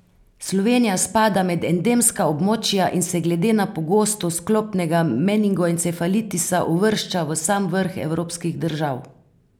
Slovenija spada med endemska območja in se glede na pogostost klopnega meningoencefalitisa uvršča v sam vrh evropskih držav.